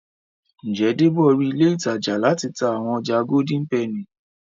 Njé Debo rí ilé ìtajà láti tá àwọn ọjà Golden penny?